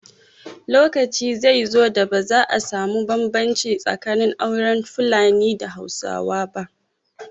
Lokaci zai zo da ba za a samu bambanci tsakanin auren Fulani da na Hausa ba